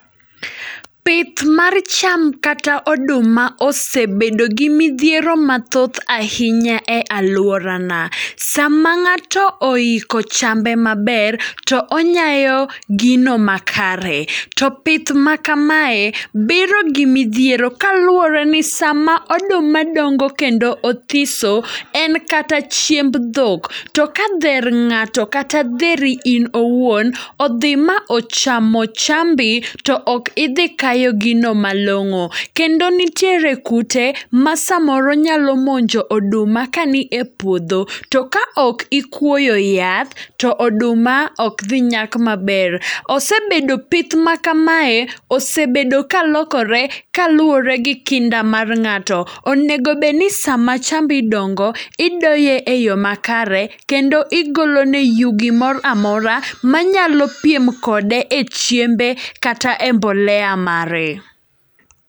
Pith mar cham kata oduma osebedo gi midhiero mathoth ahinya e alwora na. Sama ng'ato oiko chambe maber, to onyayo gino ma kare. To pith ma kamae biro gi midhiero kaluwore ni sama oduma dongo kendo othiso, en kata chiemb dhok. To ka dher ng'ato kata dheri in owuon, odhi ma ochamo chambi, to ok idhi kayo gino malong'o. Kendo nitiere kute ma samoro nyalo monjo oduma kani e puodho. To ka ok ikuoyo yath, to oduma ok dhi nyak maber. Osebedo pith ma kamae, osebedo ka lokore ka luwore gi kinda mar ng'ato. Onegobedni sama chambi dongo, idoye e yo makare, kendo igolone yugi mor amora. Ma nyalo piem kode e chiembe kata e mbolea mare.